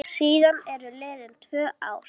Síðan eru liðin tvö ár.